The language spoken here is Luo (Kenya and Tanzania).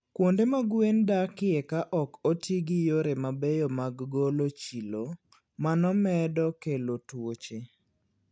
Kuonde ma gwen dakie ka ok oti gi yore mabeyo mag golo chilo, mano medo kelo tuoche.